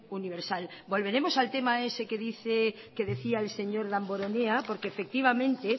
universal volveremos al tema ese que decía el señor damborenea porque efectivamente